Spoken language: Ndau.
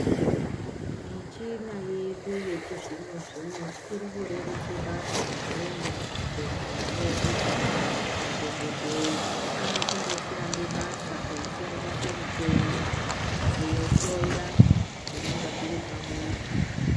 Michina yedu yechizvinozvino zvino iri kurerutse basa maningi muzvibhehlera medu madhokoteya akundoshanda basa eisenzese muchini kunhloya zvinenge zviri pamuntu.